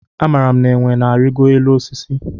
Amara m na enwe na arigo élú osisi.